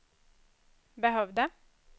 behövde